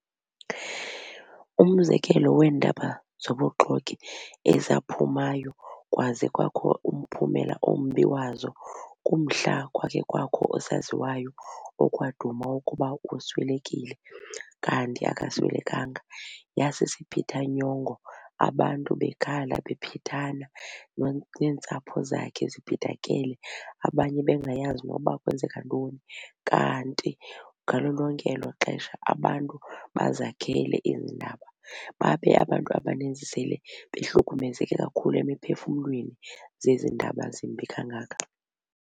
Umzekelo weendaba zobuxoki ezaphumayo kwaze kwakho umphumela ombi wazo kumhla kwakhe kwakho osaziwayo okwaduma ukuba uswelekile kanti akaswelekanga. Yasisiphithanyongo abantu bekhala bephithana neentsapho zakhe ziphithakele abanye bengayazi koba kwenzeka ntoni. Kanti ngalo lonke elo xesha abantu bazakhele ezi ndaba babe abantu abaninzi sele behlukumezeke kakhulu emiphefumlweni zezi ndaba zimbi kangaka.